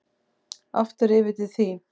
Aftur yfir til þín.